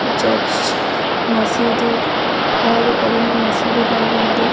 Church మసీదు పాడబడిన మసీదు లాగుంది.